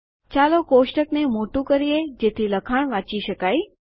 ચાલો કોષ્ટકને મોટું કરીએ જેથી લખાણ વાંચી શકાય